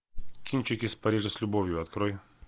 кинчик из парижа с любовью открой